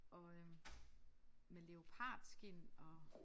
Og øh med leopardskind og